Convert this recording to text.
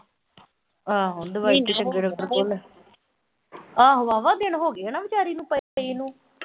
ਆਹੋ ਦਵਾਈ ਤਾਂ ਚੰਗੇ ਡਾਕਟਰ ਕੋਲ ਲੈ। ਆਹੋ ਵਾਹਵਾ ਦਿਨ ਹੋਗੇ ਹਨਾ ਵਿਚਾਰੀ ਨੂੰ ਪਈ ਨੂੰ